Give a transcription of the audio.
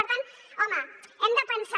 per tant home hem de pensar